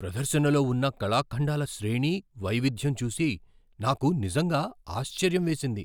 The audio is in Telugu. ప్రదర్శనలో ఉన్న కళాఖండాల శ్రేణి, వైవిధ్యం చూసి నాకు నిజంగా ఆశ్చర్యం వేసింది.